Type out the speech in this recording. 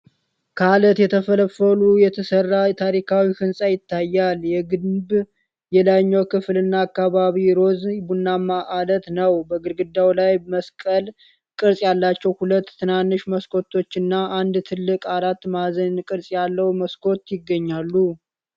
ከአለት ተፈልፍሎ የተሰራ ታሪካዊ ሕንጻ ይታያል። የግንቡ የላይኛው ክፍልና አካባቢው ሮዝ-ቡናማ አለት ነው። በግድግዳው ላይ መስቀል ቅርፅ ያላቸው ሁለት ትናንሽ መስኮቶችና አንድ ትልቅ አራት ማዕዘን ቅርጽ ያለው መስኮት ይገኛሉ።